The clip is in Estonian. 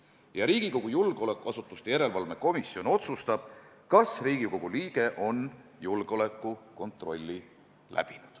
] Riigikogu julgeolekuasutuste järelevalve komisjon otsustab, kas Riigikogu liige on julgeolekukontrolli läbinud."